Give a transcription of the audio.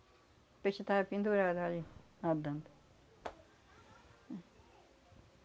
O peixe tava pendurado ali, nadando.